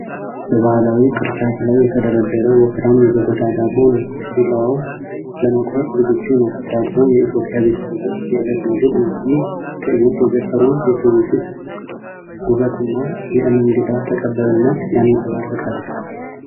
በባህላዊ ቅርጫት ላይ የተደረደረ ወፍራም የገበታ ዳቦ ነው። ቢላዋው ለመቁረጥ ዝግጁ ነው። ዳቦው የኢትዮጵያ ቤተሰቦች የዕለት ምግብ ነው። ይህ ትዕይንት የገጠሩን የትውፊት ውበትና የእንግዳ ተቀባይነትን ያንጸባርቃል።